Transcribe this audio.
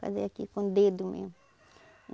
Fazia aqui com o dedo mesmo.